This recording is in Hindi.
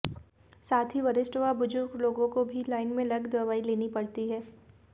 साथ ही वरिष्ठ व बुजुर्ग लोगों को भी लाइन में लग दवाई लेनी पड़ती है